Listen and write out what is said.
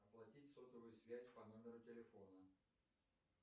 оплатить сотовую связь по номеру телефона